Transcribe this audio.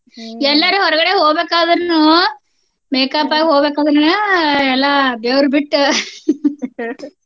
ಎಲ್ಲಾರ ಹೊರ್ಗಡೆ ಹೋಬೇಕಾದ್ರೂನೂ makeup ಆಗ್ ಹೋಬೇಕಾದ್ರೂನಾ ಎಲ್ಲಾ ಬೆವ್ರ್ಬಿಟ್ಟ .